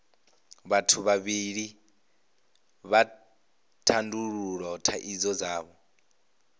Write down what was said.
vhathu vhavhili vha tandulula thaidzo dzavho